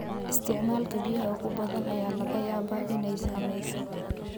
Isticmaalka biyaha ugu badan ayaa laga yaabaa inay saameyso.